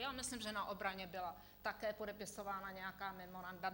Já myslím, že na obraně byla také podepisována nějaká memoranda.